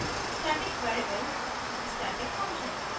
static keyword static variable